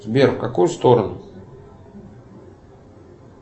сбер в какую сторону